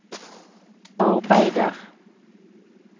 arbeider